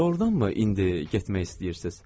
Doğrudanmı indi getmək istəyirsiz?